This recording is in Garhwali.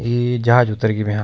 ये जहाज उतर गी भैंया।